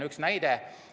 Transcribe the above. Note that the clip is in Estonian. Üks näide.